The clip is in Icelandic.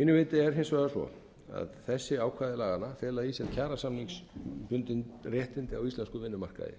mínu viti er hins vegar svo að þessi ákvæði laganna fela í sér kjarasamningsbundin réttindi á íslenskum vinnumarkaði